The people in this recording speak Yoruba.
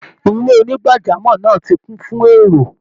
Ilé onígbàjámọ̀ náà ti kún fún èrò